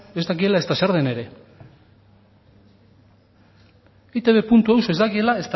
ez dakiela ezta zer den ere eitbeus ez dakiela